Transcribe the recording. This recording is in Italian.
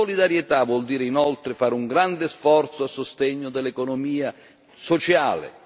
Solidarietà vuol dire, inoltre, fare un grande sforzo a sostegno dell'economia sociale